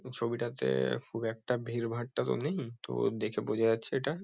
এই ছবিটাতে-এ খুব একটা ভিড়ভাট্টা তো নেই। তো দেখে বোঝা যাচ্ছে এটা।